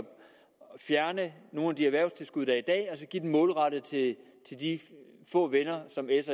fjerne nogle af de erhvervstilskud der er i dag og så give dem målrettet til de få venner som s